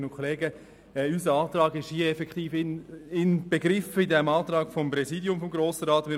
Der Antrag unserer Fraktion ist effektiv im Antrag des Präsidiums des Grossen Rates inbegriffen.